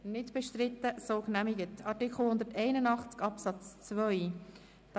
Wir stimmen über Artikel 181 Absatz 2 ab.